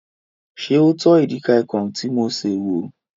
Ṣé o tọ́ edikaikong tí mo sè wò?